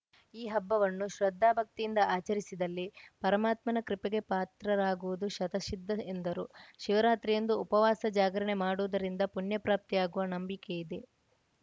ಈ ಹಬ್ಬವನ್ನು ಶ್ರದ್ಧಾಭಕ್ತಿಯಿಂದ ಆಚರಿಸಿದಲ್ಲಿ ಪರಮಾತ್ಮನ ಕೃಪೆಗೆ ಪಾತ್ರರಾಗುವುದು ಶತಸಿದ್ಧ ಎಂದರು ಶಿವರಾತ್ರಿಯಂದು ಉಪವಾಸ ಜಾಗರಣೆ ಮಾಡುವುದರಿಂದ ಪುಣ್ಯಪ್ರಾಪ್ತಿ ಆಗುವ ನಂಬಿಕೆಯಿದೆ